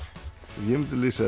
ég mundi lýsa